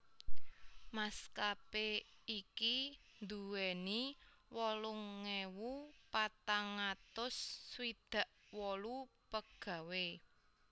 Maskapé iki duwéni wolung ewu patang atus swidak wolu pegawai